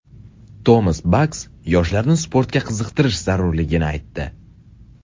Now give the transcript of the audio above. Tomas Bax yoshlarni sportga qiziqtirish zarurligini aytdi.